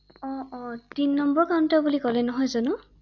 অ অ অ তিন নম্বৰ কাউন্ট বুলি ক’লে নহয় জানো ৷